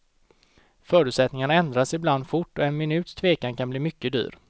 Förutsättningarna ändras ibland fort och en minuts tvekan kan bli mycket dyr.